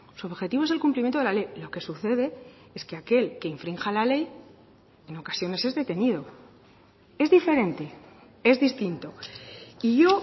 su objetivo es el cumplimiento de la ley lo que sucede es que aquel que infrinja la ley en ocasiones es detenido es diferente es distinto y yo